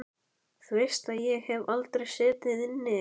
Þú veist að ég hef aldrei setið inni.